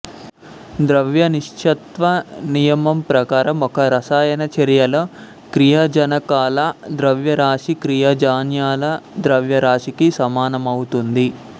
ద్రవ్య నిశ్చత్వ నియమం ప్రకారం ఒక రసాయన చర్యలో క్రియాజనకాల ద్రవ్యరాశి క్రియాజన్యాల ద్రవ్యరాశికి సమానమవుతుంది